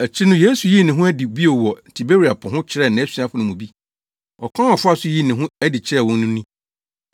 Akyiri no Yesu yii ne ho adi bio wɔ Tiberia Po ho kyerɛɛ nʼasuafo no mu bi. Ɔkwan a ɔfaa so yii ne ho adi kyerɛɛ wɔn no ni: